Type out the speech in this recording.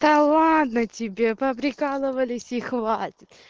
да ладно тебе по прикалывались и хватит